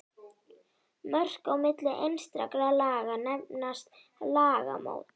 Mörk á milli einstakra laga nefnast lagamót.